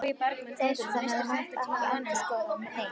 Þórhildur: Þannig að þú munt ekki endurskoða það neitt?